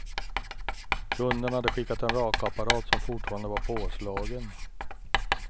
Kunden hade skickat en rakapparat som fortfarande var påslagen.